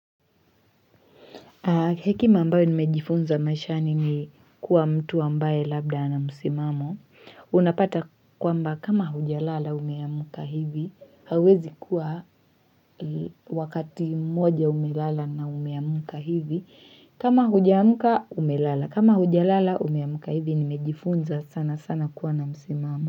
Hekima ambayo nimejifunza mashani ni kuwa mtu ambaye labda na msimamo. Unapata kwamba kama huja lala umeamka hivi, hauwezi kuwa wakati mmoja umeamuka hivi. Kama huja mka umelala kama huja lala umeamka hivi nimejifunza sana sana kuwa na msimamo.